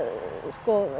eins og